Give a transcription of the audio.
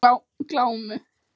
Glámu